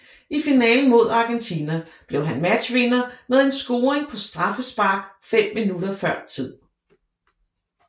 I finalen mod Argentina blev han matchvinder med en scoring på straffespark fem minutter før tid